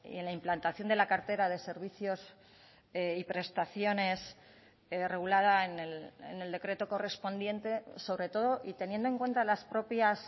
en la implantación de la cartera de servicios y prestaciones regulada en el decreto correspondiente sobre todo y teniendo en cuenta las propias